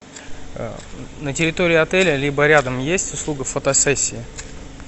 на территории отеля либо рядом есть услуга фотосессии